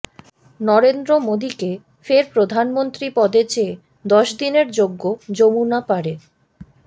নরেন্দ্র মোদীকে ফের প্রধানমন্ত্রী পদে চেয়ে দশ দিনের যজ্ঞ যমুনা পারে